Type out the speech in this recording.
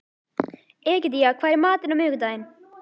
Egedía, hvað er í matinn á miðvikudaginn?